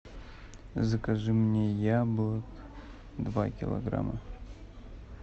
закажи мне яблок два килограмма